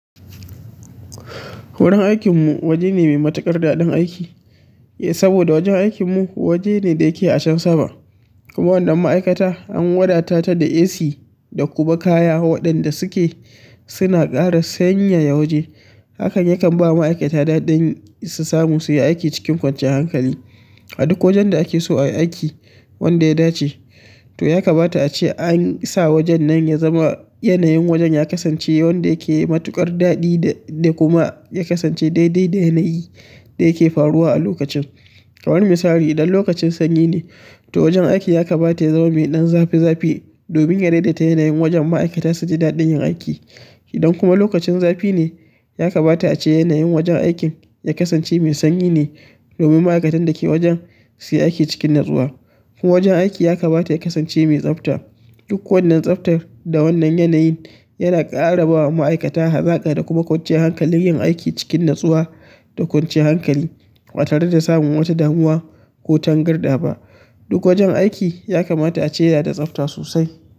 Wurin aikinmu waje ne mai matuƙar daɗin aiki, saboda wajen aikinmu waje ne da yake a can sama. Kuma wannan ma'aikata an wadatata da AC da kuma kaya waɗanda suke suna ƙara sanyaya waje. Hakan yakan bawa ma'aikata daɗin su samu su yi aiki cikin kwanciyar hankali. A duk wajen da ake so a yi aiki wanda ya dace, to ya kamata ace an sa wajen nan ya zama yanayin wajen ya kasance wanda yake matuƙar daɗi da, da kuma ya kasance daidai da yanayin da yake faruwa a lokacin. Kamar misali, idan lokacin sanyi ne, to wajen aiki ya kamata ya zama mai ɗan zafi zafi domin ya daidaita yanayin wajen ma'aikata su ji daɗin yin aiki. Idan kuma lokacin zafi ne, ya kamata ace yanayin wajen aikin ya kasance mai sanyi ne domin ma'aikatan da ke wajen su yi aiki cikin natsuwa. Kuma wajen aiki ya kamata ya kasance mai tsafta. Duk wannan tsaftar da wannan yanayin yana ƙara bawa ma'aikata hazaƙa da kuma kwanciyar hankalin yin aiki cikin natsuwa da kwanciyar hankali, ba tare da samun wata damuwa ko tangarɗa ba. Duk wajen aiki ya kamata ace yana da tsafta sosai.